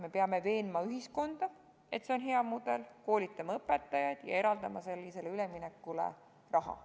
Me peame veenma ühiskonda, et see on hea mudel, peame koolitama õpetajaid ja eraldama selliseks üleminekuks raha.